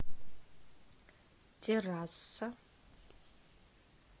терраса